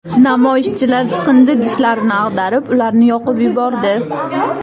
Namoyishchilar chiqindi idishlarini ag‘darib, ularni yoqib yubordi.